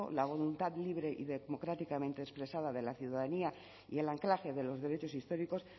la voluntad libre y democráticamente expresada de la ciudadanía y el anclaje de los derechos históricos